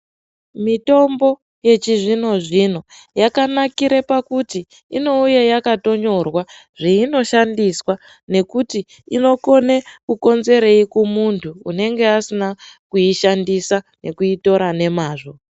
Mitombo yechizvino zvino yakanakire pakuti inouye yakatonyorwa zveinoshandiswa nekuti inokone kukonzerei kumuntu unenge asina kuishandisa nekuitora nemazvo.